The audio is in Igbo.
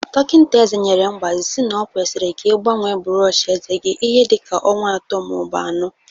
Dọkinta eze nyere mgbazi si na okwesiri ka igbanwee bụrọọchi eze gi ihe dịka ọnwa atọ maọbụ anọ.